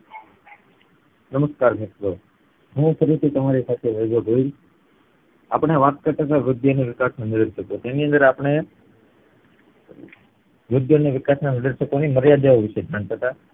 નમસ્તે મિત્રો હું ફરીથી તમારી સાથે જોડાયો છું અપડે વાત કરતા વૃદ્ધિ અને વિકાસ ની ઉદેશકો ની તેની અંદર અપડે વૃદ્ધિ અને વિકાસ ની ઉદેશકો ની મર્યાદા ઓ વિષે જાણતા તા